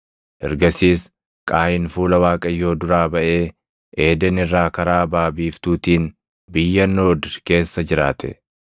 Ergasiis Qaayin fuula Waaqayyoo duraa baʼee Eeden irraa karaa baʼa biiftuutiin biyya Noodi keessa jiraate.